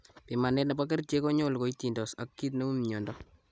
Pimanet nebo kerichek konyolu koitindos ag kiit neu mnyondo